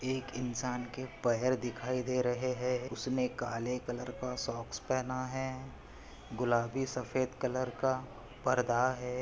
एक इंसान के पेयर दिखाई दे रहे है। उसने काले कलर का सोक्स पहना है। गूलबी सफ़ेद कलर का पर्दा है।